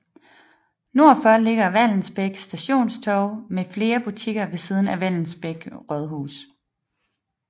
Nord for ligger Vallensbæk Stationstorv med flere butikker ved siden af Vallensbæk Rådhus